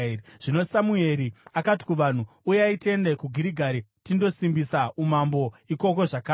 Zvino Samueri akati kuvanhu, “Uyai tiende kuGirigari tindosimbisa umambo ikoko zvakare.”